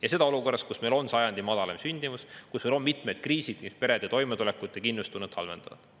Ja seda olukorras, kui meil on sajandi madalaim sündimus, kui meil on mitmed kriisid, mis perede toimetulekut ja kindlustunnet halvendavad.